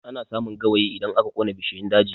Ana samun gawayi idan aka ƙona bishiyun daji